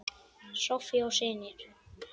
Soffía og synir.